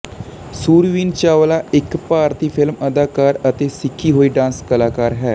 ਸੁਰਵੀਨ ਚਾਵਲਾ ਇੱਕ ਭਾਰਤੀ ਫਿਲਮ ਅਦਾਕਾਰਾ ਅਤੇ ਸਿੱਖੀ ਹੋਈ ਡਾਂਸ ਕਲਾਕਾਰ ਹੈ